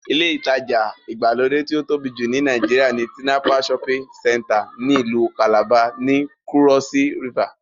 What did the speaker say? Ilé ìtajà ìgbàlódé tí ó tóbi jù ní Nàìjíríà ni Tinapa shopping center ní ìlú kàlàba, ní kúrọ́s rivà